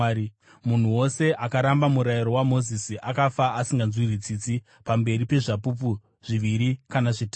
Munhu wose akaramba murayiro waMozisi akafa asinganzwirwi tsitsi pamberi pezvapupu zviviri kana zvitatu.